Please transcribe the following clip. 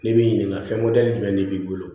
N'i b'i ɲininka fɛn jumɛn de b'i bolo